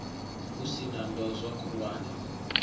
hu sin a ndozwo khulwane